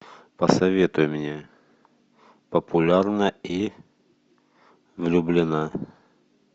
посоветуй мне популярна и влюблена